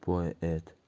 поэт